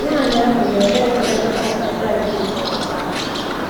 Nwanyị ahụ na-ere efere rọba kwa Friday.